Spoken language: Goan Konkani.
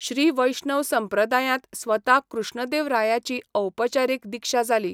श्री वैष्णव संप्रदायांत स्वता कृष्णदेवरायाची औपचारीक दिक्षा जाली.